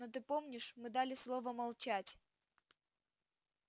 но ты помнишь мы дали слово молчать